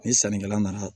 Ni sannikɛla nana